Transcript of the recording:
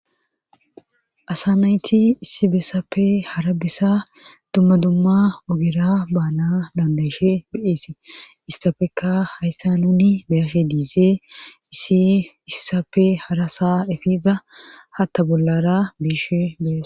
asa nayti issi beessappe hara besa dumma dumma ogira baana dandayishe beeesi isstapekka hayssa nuni beyishe diizee issi issappe harasa efiza hatta bollara biishe beyas.